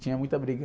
Tinha muita briga.